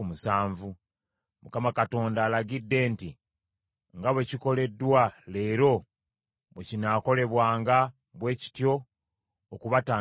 Mukama alagidde nti nga bwe kikoleddwa leero bwe kinaakolebwanga bwe kityo okubatangiririra.